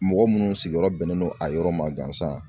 Mɔgɔ munnu sigiyɔrɔ bɛnnen don a yɔrɔ ma gansan